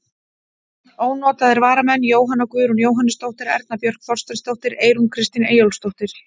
Ónotaðir varamenn: Jóhanna Guðrún Jóhannesdóttir, Erna Björk Þorsteinsdóttir, Eyrún Kristín Eyjólfsdóttir.